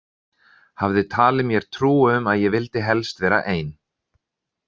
Hafði talið mér trú um að ég vildi helst vera ein.